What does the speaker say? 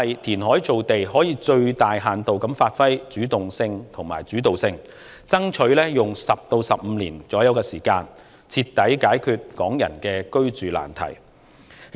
填海造地可發揮最大限度的主動性和主導性，爭取用約10至15年時間，徹底解決港人的居住難題。